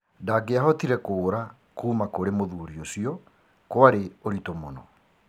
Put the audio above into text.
Ndangiahotire kũũra kuuma kũrĩ mũthuri ũcio kwarĩ ũritũ mũno.